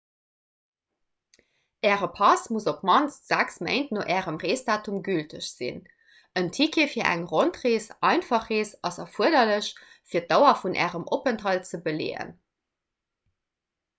äre pass muss op d'mannst 6 méint no ärem reesdatum gülteg sinn. en ticket fir eng rondrees/einfach rees ass erfuerderlech fir d'dauer vun ärem openthalt ze beleeën